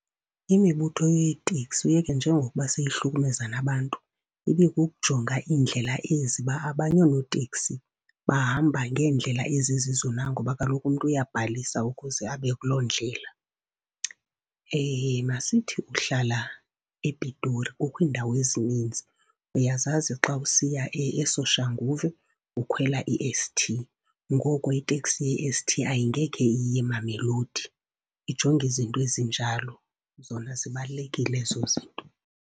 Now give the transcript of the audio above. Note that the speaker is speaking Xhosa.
Imibutho yeeteksi, uyeke njengokuba seyihlukumeza nabantu, ibikukujonga iindlela ezi uba abanye oonoteksi bahamba ngendlela ezizizo na, ngoba kaloku umntu uyabhalisa ukuze abe kuloo ndlela. Masithi uhlala ePitori, kukho indawo ezininzi. Uyazazi xa usiya eSoshanguve ukhwela i-S_T, ngoko iteksi ye-S_T angeke iye eMamelodi. Ijonge izinto ezinjalo, zona zibalulekile ezo zinto.